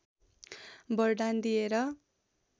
वरदान दिएर